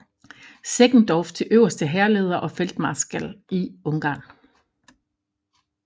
Seckendorff til øverste hærleder og feltmarskal i Ungarn